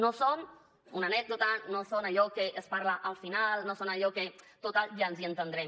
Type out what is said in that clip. no són una anècdota no són allò que es parla al final no són allò de total ja ens hi entendrem